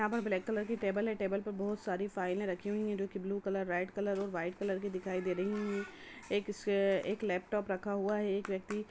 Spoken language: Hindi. यहाँ पर ब्लैक कलर की टेबल है टेबल पे बहुत सारी फाइलें रखी हुई है जो की ब्लू कलर रेड कलर और व्हाइट कलर की दिखाई दे रही है एक स्वे एक लैपटॉप रखा हुआ है एक व्यक्ति--